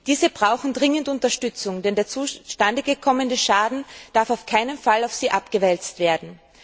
Diese brauchen dringend Unterstützung, denn der entstandene Schaden darf auf keinen Fall auf sie abgewälzt werden.